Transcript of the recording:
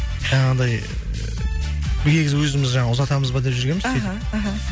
жаңағындай өзіміз жаңа ұзатамыз ба деп жүргенбіз іхі сөйтіп іхі